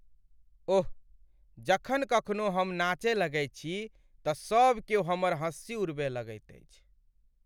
ओह, जखन कखनो हम नाचय लगैत छी तँ सभ क्यौ हमर हंसी उड़बय लगैत अछि।